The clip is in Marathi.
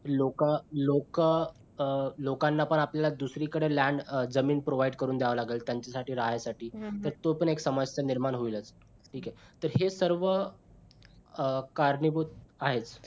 लोक लोक अं लोकांना पण आपल्याला दुसरीकडे land जमीन provide करून द्यावं लागेल त्याच्यासाठी राहण्यासाठी तर तो पण एक समस्या निर्माण होइलच ठीक आहे. तर हे सर्व कारणीभूत आहेत.